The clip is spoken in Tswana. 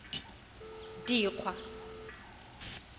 dikgwa